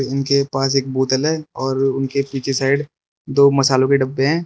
इनके पास एक बोतल है और इनके पीछे साइड दो मसलों के डब्बे हैं।